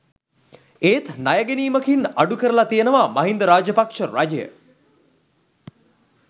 ඒත් ණය ගැනීමකින් අඩුකරලා තියෙනවා මහින්ද රාජපක්ෂ රජය.